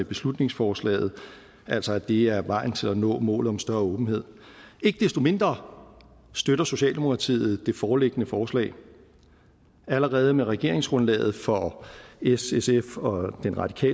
beslutningsforslaget altså at det er vejen til at nå målet om større åbenhed ikke desto mindre støtter socialdemokratiet det foreliggende forslag allerede med regeringsgrundlaget for ssfrv